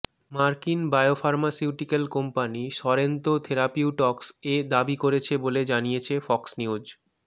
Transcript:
মার্কিন biopharmaceutical company Sorrento Therapeutics এ দাবি করেছে বলে জানিয়েছে ফক্স নিউজ